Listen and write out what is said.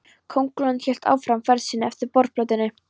Kóngulóin hélt áfram ferð sinni eftir borðplötunni.